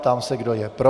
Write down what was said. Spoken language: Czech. Ptám se, kdo je pro.